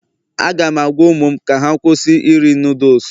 Aga m agwa ụmụ m ka ha kwụsị iri Nudusu